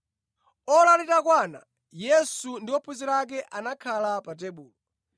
Ora litakwana, Yesu ndi ophunzira ake anakhala pa tebulo.